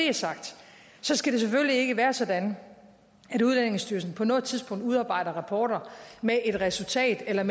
er sagt skal det selvfølgelig ikke være sådan at udlændingestyrelsen på noget tidspunkt udarbejder rapporter med et resultat eller